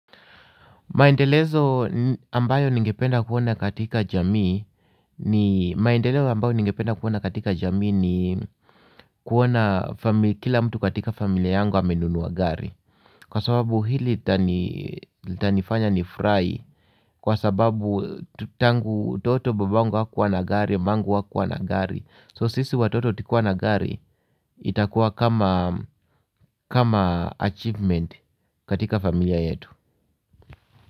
Maendelezo ambayo ningependa kuona katika jamii ni maendeleo ambayo ningependa kuona katika jamii ni kuona kila mtu katika familia yangu amenunua gari. Kwa sababu hili litanifanya ni furahi kwa sababu tangu utoto babangu hakuwa na gari, mamangu hakuwa na gari. So sisi watoto tukiwa na gari itakuwa kama kama achievement katika familia yetu.